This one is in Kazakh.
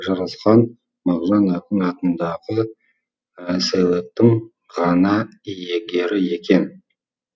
жарасқан мағжан ақын атындағы сыйлықтың ғана иегері екен